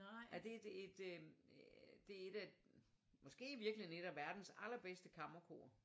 Ej det et øh det et øh måske i virkeligheden et af verdens aller bedste kammerkor